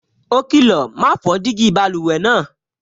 Ó kìlọ̀, "ma fọ́ jígí báluwẹ̀ náà"